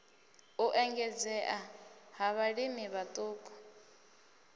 u engedzea ha vhalimi vhaṱuku